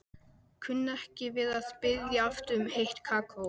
Kunni ekki við að biðja aftur um heitt kakó.